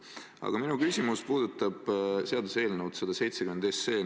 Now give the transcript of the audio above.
Aga minu küsimus puudutab seaduseelnõu 170.